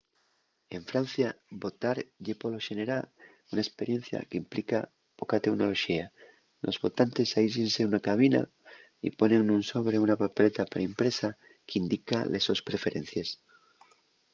en francia votar ye polo xenera una esperiencia qu’implica poca teunoloxía: los votantes aísllense nuna cabina y ponen nun sobre una papeleta pre-impresa qu’indica les sos preferencies